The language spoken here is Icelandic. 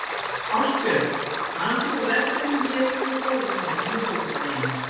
Ástbjörg, manstu hvað verslunin hét sem við fórum í á miðvikudaginn?